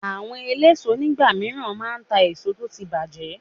Àwọn eléso nígbà míràn máa ta èso tó ti bàjẹ́